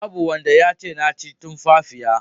Babu wanda yace na ci tumfafiya.